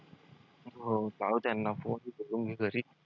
हो लाव त्यांना phone